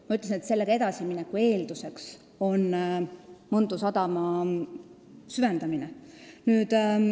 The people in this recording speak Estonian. Ma ütlesin, et sellega edasimineku eelduseks on Mõntu sadama süvendamine.